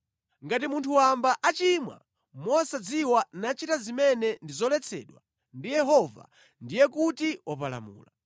“ ‘Ngati munthu wamba achimwa mosadziwa nachita zimene ndi zoletsedwa ndi Yehova, ndiye kuti wapalamula.